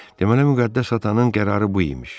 Deməli Müqəddəs atanın qərarı bu imiş.